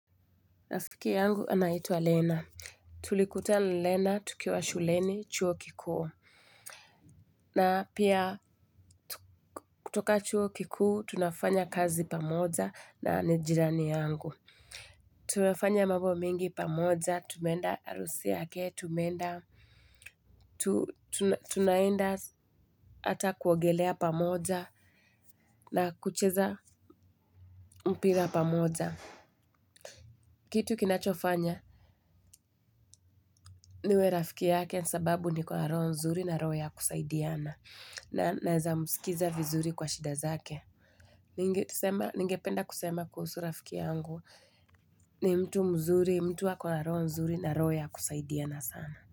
Rafiki yangu anaitwa Lena. Tulikutana na Lena tukiwa shuleni chuo kikuu. Na pia kutoka chuo kikuu tunafanya kazi pamoja na nijirani yangu. Tumefanya mambo mengi pamoja, tumeenda harusi yake, tumeenda. Tunaenda hata kuogelea pamoja na kucheza mpira pamoja. Kitu kinachofanya niwe rafiki yake nisababu ni kwa roho nzuri na roho ya kusaidiana. Naweza msikiliza vizuri kwa shida zake. Ningependa kusema kuhusu rafiki yangu. Ni mtu mzuri, mtu ako na roho nzuri na roho ya kusaidiana sana.